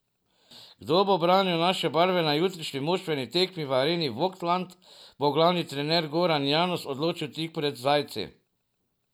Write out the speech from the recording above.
Kdo bo branil naše barve na jutrišnji moštveni tekmi v areni Vogtland, bo glavni trener Goran Janus določil tik pred zdajci.